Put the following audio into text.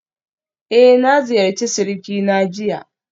Eh na ziyarci surikina jiya